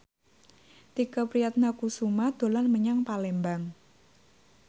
Tike Priatnakusuma dolan menyang Palembang